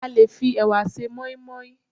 a lè fi ẹwà se moimoi